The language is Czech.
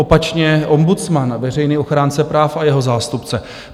Opačně ombudsman, veřejný ochránce práv a jeho zástupce.